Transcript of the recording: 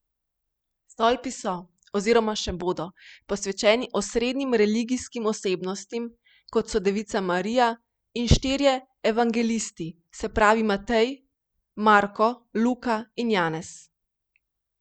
Stolpi so oziroma še bodo posvečeni osrednjim religijskim osebnostim, kot so Devica Marija in štirje evangelisti, se pravi Matej, Marko, Luka in Janez.